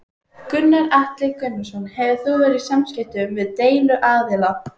Gunnar Atli Gunnarsson: Hefur þú verið í samskiptum við deiluaðila?